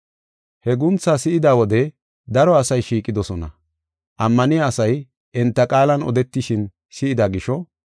He guuntha si7ida wode daro asay shiiqidosona. Ammaniya asay enta qaalan odetishin si7ida gisho,